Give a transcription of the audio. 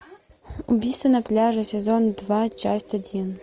убийство на пляже сезон два часть один